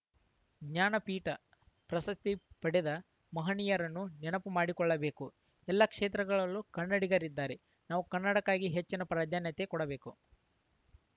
ಜ್ಞಾನಪೀಠ ಪ್ರಶಸ್ತಿ ಪಡೆದ ಮಹನೀಯರನ್ನು ನೆನಪು ಮಾಡಿಕೊಳ್ಳಬೇಕು ಎಲ್ಲ ಕ್ಷೇತ್ರಗಳಲ್ಲೂ ಕನ್ನಡಿಗರಿದ್ದಾರೆ ನಾವು ಕನ್ನಡಕ್ಕಾಗಿ ಹೆಚ್ಚಿನ ಪ್ರಾಧಾನ್ಯತೆ ಕೊಡಬೇಕು